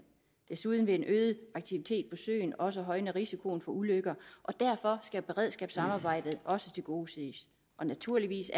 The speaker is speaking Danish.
desuden vil en øget aktivitet på søen også højne risikoen for ulykker og derfor skal beredskabssamarbejdet også tilgodeses og naturligvis